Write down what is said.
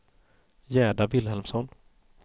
Gerda Vilhelmsson